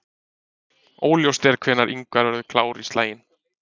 Óljóst er hvenær Ingvar verður klár í slaginn.